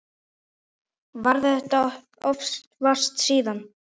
Varð þess oft vart síðan.